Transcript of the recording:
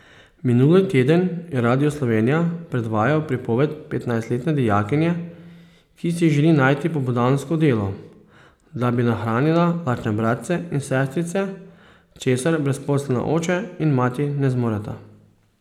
Minuli teden je Radio Slovenija predvajal pripoved petnajstletne dijakinje, ki si želi najti popoldansko delo, da bi nahranila lačne bratce in sestrice, česar brezposelna oče in mati ne zmoreta.